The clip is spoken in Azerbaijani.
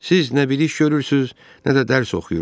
Siz nə bir iş görürsüz, nə də dərs oxuyursuz.